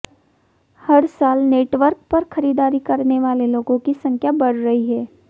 हर साल नेटवर्क पर खरीदारी करने वाले लोगों की संख्या बढ़ रही है